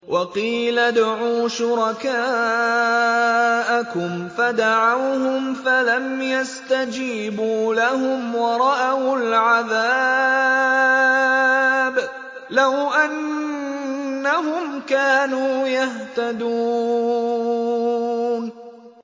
وَقِيلَ ادْعُوا شُرَكَاءَكُمْ فَدَعَوْهُمْ فَلَمْ يَسْتَجِيبُوا لَهُمْ وَرَأَوُا الْعَذَابَ ۚ لَوْ أَنَّهُمْ كَانُوا يَهْتَدُونَ